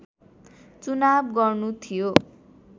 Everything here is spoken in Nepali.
चुनाव गर्नु थियो